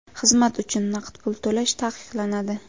Xizmat uchun naqd pul to‘lash taqiqlanadi.